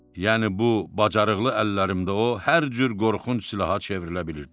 Yəni bu bacarıqlı əllərimdə o hər cür qorxunc silaha çevrilə bilirdi.